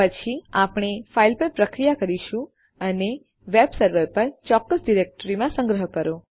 પછી આપણે ફાઇલ પર પ્રક્રિયા કરીશું અને વેબ સર્વર પર ચોક્કસ ડિરેક્ટરીમાં સંગ્રહ કરો